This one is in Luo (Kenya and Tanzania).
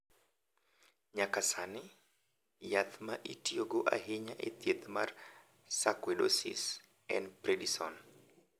Kuom sani, yath ma itiyogo ahinya e thieth mar sarkoidosis en prednisone.